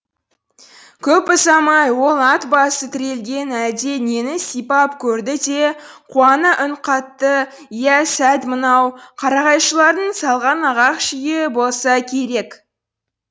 көп ұзамай ол ат басы тірелген әлде нені сипап көрді де қуана үн қатты иә сәт мынау қарағайшылардың салған ағаш үйі болса керек